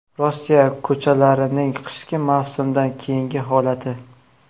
Rossiya ko‘chalarining qishki mavsumdan keyingi holati .